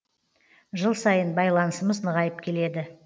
жыл сайын байланысымыз нығайып келеді